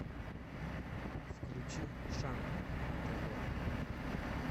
включи шант на тв